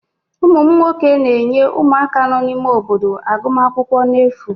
ụmụ m nwoke na-enye ụmụaka nọ n'ime obodo agụmakwụkwọ n'efu